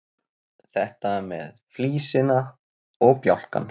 Þetta með flísina og bjálkann.